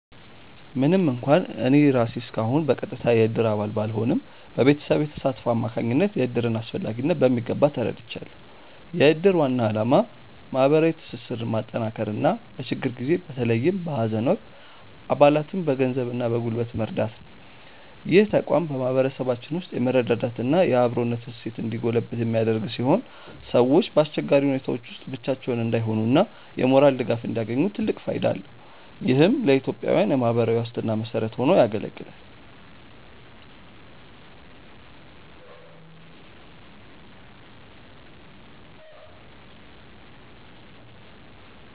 ምንም እንኳን እኔ ራሴ እስካሁን በቀጥታ የእድር አባል ባልሆንም፣ በቤተሰቤ ተሳትፎ አማካኝነት የእድርን አስፈላጊነት በሚገባ ተረድቻለሁ። የእድር ዋና ዓላማ ማህበራዊ ትስስርን ማጠናከርና በችግር ጊዜ በተለይም በሀዘን ወቅት አባላትን በገንዘብና በጉልበት መርዳት ነው። ይህ ተቋም በማህበረሰባችን ውስጥ የመረዳዳትና የአብሮነት እሴት እንዲጎለብት የሚያደርግ ሲሆን፣ ሰዎች በአስቸጋሪ ሁኔታዎች ውስጥ ብቻቸውን እንዳይሆኑና የሞራል ድጋፍ እንዲያገኙ ትልቅ ፋይዳ አለው። ይህም ለኢትዮጵያዊያን የማህበራዊ ዋስትና መሰረት ሆኖ ያገለግላል።